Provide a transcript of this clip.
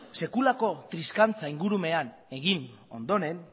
sekulako triskantza ingurumenean egin ondoren